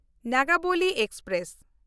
Nagavali express